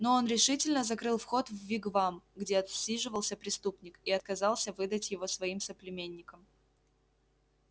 но он решительно закрыл вход в вигвам где отсиживался преступник и отказался выдать его своим соплеменникам